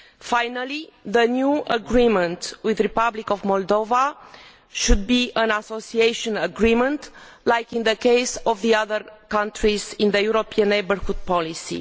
Finally, the new agreement with the Republic of Moldova should be an association agreement as in the case of the other countries under the European neighbourhood policy.